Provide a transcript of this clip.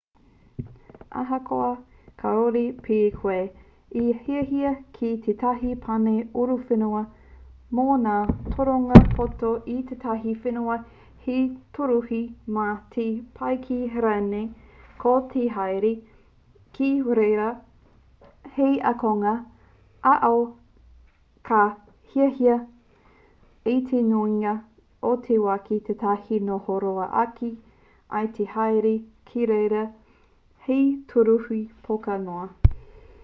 ahakoa kāore pea koe e hiahia ki tētahi pane uruuruwhenua mō ngā toronga poto ki ētahi whenua hei tūruhi mā te pakihi rānei ko te haere ki reira hei ākonga ā-ao ka hiahia i te nuinga o te wā ki tētahi noho roa ake i te haere ki reira hei tūruhi poka noa